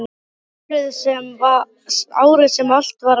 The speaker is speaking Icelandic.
Árið sem allt var að byrja.